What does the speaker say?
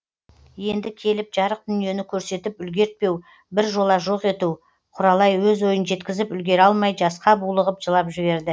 енді келіп жарық дүниені көрсетіп үлгертпеу бір жола жоқ ету құралай өз ойын жеткізіп үлгіре алмай жасқа булығып жылап жіберді